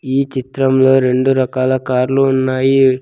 ఈ చిత్రంలో రెండు రకాల కార్లు ఉన్నాయి.